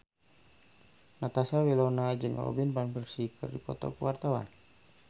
Natasha Wilona jeung Robin Van Persie keur dipoto ku wartawan